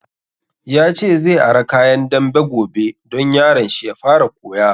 Ya ce zai ara kayan dambe gobe don yaron shi ya fara koya